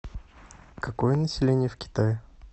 какое население в китае